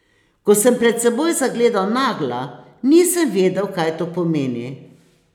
Ko sem pred seboj zagledal Nagla, nisem vedel, kaj to pomeni.